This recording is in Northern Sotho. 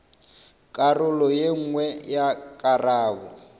karolo ye nngwe ya karabo